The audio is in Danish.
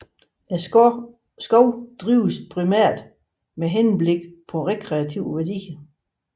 Skoven drives primært med henblik på rekreative værdier